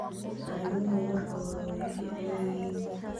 Arimuhu marka hore way fiican yihiin.